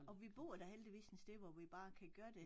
Og vi bor da heldigvis sådan et sted hvor vi bare kan gøre det